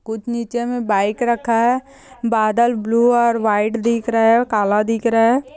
कुछ निचे में बाइक रखा है बदल बालू और व्हाइट दिख रहा है कला दिख रहा है ।